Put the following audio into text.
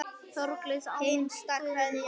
Þorgils og Ámundi Guðni.